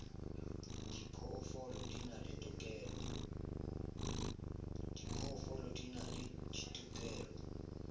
diphoofolo di na le ditokelo